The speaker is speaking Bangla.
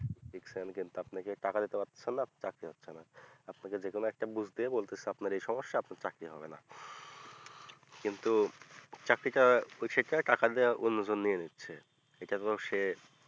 আপনি টাকা দিতে পারছেন না আপনাকে যে কোনো একটা ঘুষ দিয়ে বলছে যে আপনার এই সমস্যা আপনার চাকরি হবে না কিন্তু চাকরিটা টাকা দিয়ে অন্য জন নিয়ে নিচ্ছে এটা এতেও সে